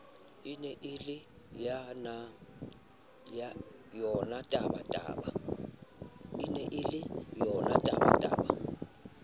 e ne e le yonatabataba